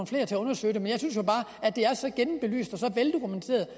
flere til at undersøge det men jeg synes jo bare at det er så gennembelyst og så veldokumenteret